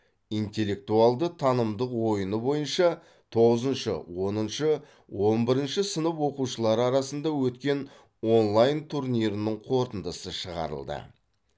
интеллектуалды танымдық ойыны бойынша тоғызыншы оныншы он бірінші сынып оқушылары арасында өткен онлайн турнирінің қорытындысы шығарылды